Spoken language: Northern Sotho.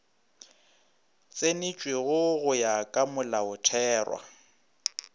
tsenetšwego go ya ka molaotherwa